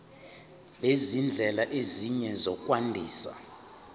nezindlela ezinye zokwandisa